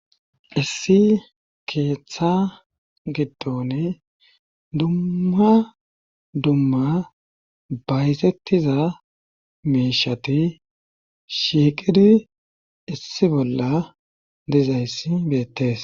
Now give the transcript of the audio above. issi keeththa giddoni dumma dumma bayzettiza miishati shiiqidi issi bolla dizayss beettes